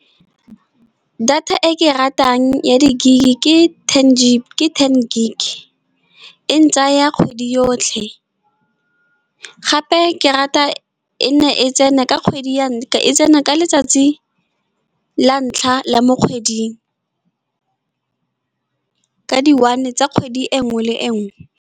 Data e ke e ratang ya di gig, ke ten gig e ntsaya kgwedi yotlhe, gape ke rata e tsena ka letsatsi la ntlha la mo kgweding. Ka di one tsa kgwedi e nngwe le e nngwe.